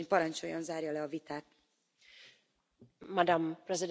Madam President, honourable Members, thank you very much for this discussion.